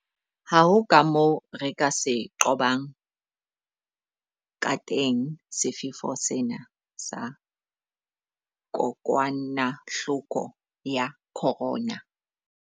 Ha ho kamoo re ka se qobang kateng sefefo sena sa kokwanahloko ya corona.